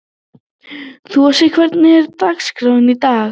Þossi, hvernig er dagskráin í dag?